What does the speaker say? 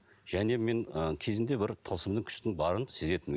және мен ы кезінде бір тылсымның күштің барын сезетінмін